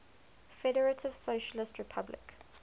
federative socialist republic